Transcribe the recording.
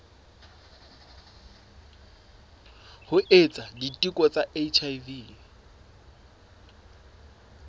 ho etsa diteko tsa hiv